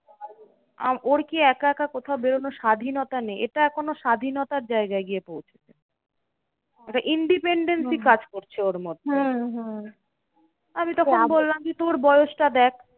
আ ওর কি একা একা কোথাও বেরোনোর স্বাধীনতা নেই? এটা এখন ওর স্বাধীনতার জায়গায় গিয়ে পৌঁছেছে। একটা independency কাজ করছে ওর মধ্যে। আমি তখন বললাম যে তোর বয়সটা দেখ।